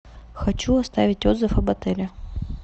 хочу оставить отзыв об отеле